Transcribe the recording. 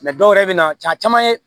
dɔw yɛrɛ bɛ na caa caman ye